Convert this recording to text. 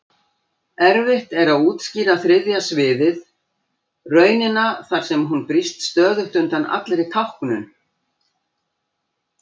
Erfitt er að útskýra þriðja sviðið, raunina þar sem hún brýst stöðugt undan allri táknun.